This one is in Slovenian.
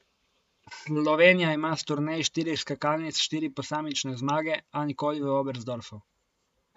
Slovenija ima s turnej štirih skakalnic štiri posamične zmage, a nikoli v Oberstdorfu.